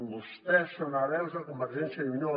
vostès són hereus de convergència i unió